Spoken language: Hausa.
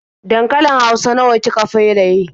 Dankalin hausa nawa ki ka feraye?